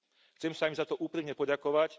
Chcem sa im za to úprimne poďakovať.